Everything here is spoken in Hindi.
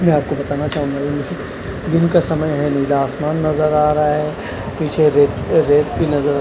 मैं आपको बताना चाहूंगा दिन का समय है नीला आसमान नजर आ रहा है पिछे रेत रेत भी नजर--